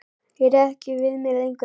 Ég réð ekki við mig lengur.